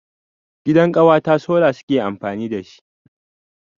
Gidan ƙawata sola suke amfani dashi.